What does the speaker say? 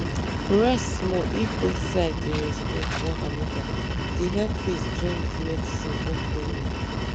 rest small-- if both side dem respect one anoda e dey help faith join with medicine work well well.